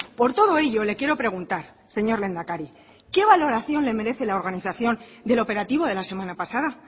por todo ello le quiero preguntar señor lehendakari qué valoración le merece la organización del operativo de la semana pasada